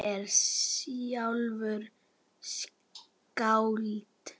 Afi er sjálfur skáld.